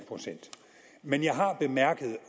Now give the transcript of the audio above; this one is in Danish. procent men jeg har bemærket